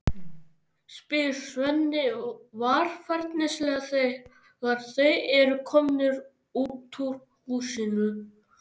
spyr Svenni varfærnislega þegar þeir eru komnir út úr húsinu.